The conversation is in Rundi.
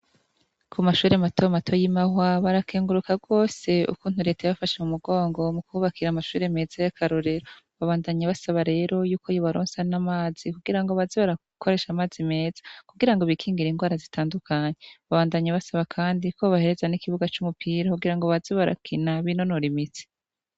ku mashuri mato mato y'imahwa barakenguruka gose ukuntu leta ya bafashe mu mugongo mu kubakira amashuri meza y'akarorero babandanye basaba rero y'uko yobaronsa n'amazi kugirango bazibarakoresha amazi meza kugira ngo bikingira indwara zitandukanye babandanye basaba kandi ko bobahereza n'ikibuga c'umupira kugirango bazibarakina b'inonora imitsi.